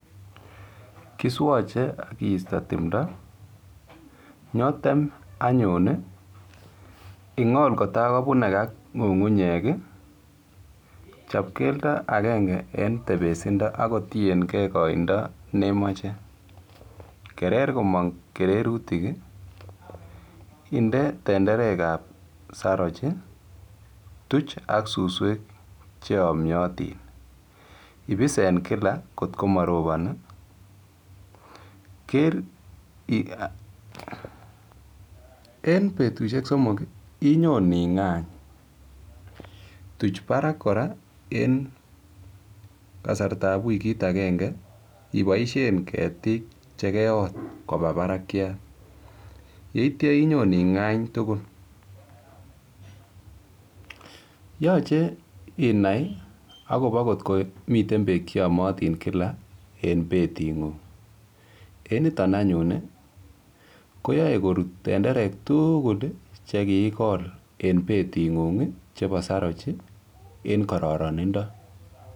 Kiswoche keistoi tumdo atya kebal keringonik en keldo agenge akinde tenderek ab sarach akituche suswek atya ibis eng betushek somok ing'any akitestai irib pkorut tenderek ab sarach eng kararanindo